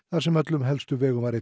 þar sem öllum helstu vegum var